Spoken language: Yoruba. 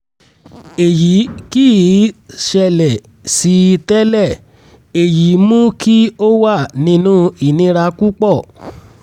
èyí kì í ṣẹlẹ̀ sí i tẹ́lẹ̀ èyí mú kí ó wà nínú ìnira púpọ̀